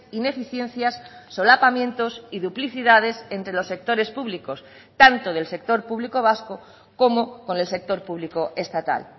ineficiencias solapamientos y duplicidades entre los sectores públicos tanto del sector público vasco como con el sector público estatal